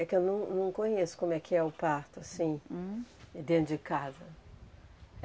É que eu não não conheço como é que é o parto, assim, dentro de casa.